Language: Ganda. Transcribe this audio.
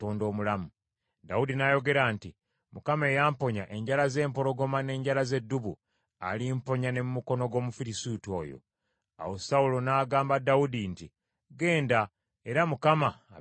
Dawudi n’ayogera nti, “ Mukama eyamponya enjala z’empologoma n’enjala z’eddubu, alimponya ne mu mukono gw’Omufirisuuti oyo.” Awo Sawulo n’agamba Dawudi nti, “Genda, era Mukama abeere naawe.”